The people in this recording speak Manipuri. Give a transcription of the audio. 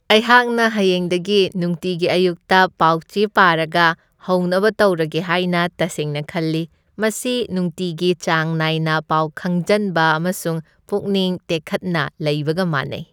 ꯑꯩꯍꯥꯛꯅ ꯍꯌꯦꯡꯗꯒꯤ ꯅꯨꯡꯇꯤꯒꯤ ꯑꯌꯨꯛꯇ ꯄꯥꯎ ꯆꯦ ꯄꯥꯔꯒ ꯍꯧꯅꯕ ꯇꯧꯔꯒꯦ ꯍꯥꯏꯅ ꯇꯁꯦꯡꯅ ꯈꯜꯂꯤ꯫ ꯃꯁꯤ ꯅꯨꯡꯇꯤꯒꯤ ꯆꯥꯡ ꯅꯥꯏꯅ ꯄꯥꯎ ꯈꯪꯖꯟꯕ ꯑꯃꯁꯨꯡ ꯄꯨꯛꯅꯤꯡ ꯇꯦꯛꯈꯠꯅ ꯂꯩꯕꯒ ꯃꯥꯟꯅꯩ ꯫